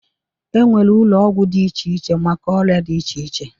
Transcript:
E nwere ụlọ ọgwụ dị iche iche maka ọrịa dị iche iche.